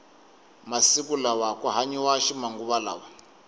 masiku lawa ku hanyiwa ximanguva lawa